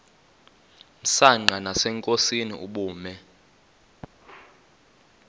msanqa nasenkosini ubume